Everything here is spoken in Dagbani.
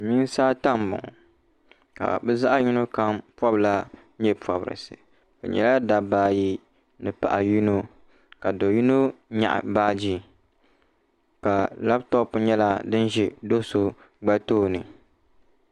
silimiinsi ata m-bɔŋɔ ka bɛ zaɣ' yino kam pɔbila nye' pɔbirisi bɛ nyɛla dabba ayi ni paɣa yino ka do' yino nyaɣi baaji ka labitopu nyɛla din ʒi do' so gba tooni.